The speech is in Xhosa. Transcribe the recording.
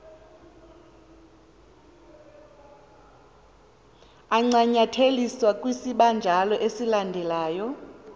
ancanyatheliswe kwisibanjalo esilandelyo